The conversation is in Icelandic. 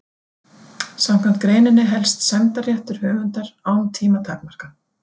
Samkvæmt greininni helst sæmdarréttur höfundar án tímamarka.